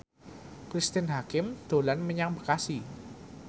Cristine Hakim dolan menyang Bekasi